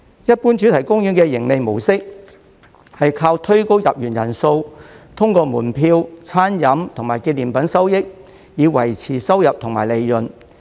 一般主題公園的盈利模式是靠推高入園人數，通過門票、餐飲和紀念品收益，以維持收入及利潤。